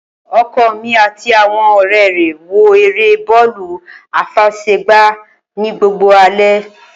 Oko mí àti àwon òré re wo èrè bọọlu afesegba ni gbogbo alé